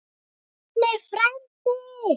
Árni frændi!